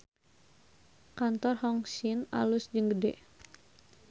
Kantor Hong Sin alus jeung gede